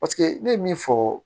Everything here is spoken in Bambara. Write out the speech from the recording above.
Paseke ne ye min fɔ